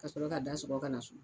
Ka sɔrɔ k'a da sɔgɔ ka na so.